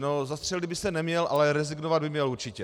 No, zastřelit by se neměl, ale rezignovat by měl určitě.